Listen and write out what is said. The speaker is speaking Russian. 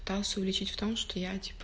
увеличить в том что я